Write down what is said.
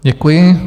Děkuji.